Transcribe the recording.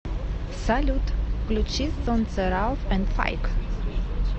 салют включи солнце рауф энд файк